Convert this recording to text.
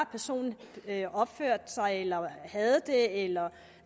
personen opførte sig eller havde det eller